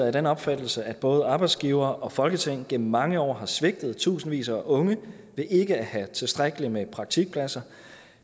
af den opfattelse at både arbejdsgivere og folketing gennem mange år har svigtet tusindvis af unge ved ikke at have tilstrækkeligt med praktikpladser